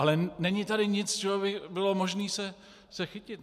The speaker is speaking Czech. Ale není tady nic, čeho by bylo možné se chytit.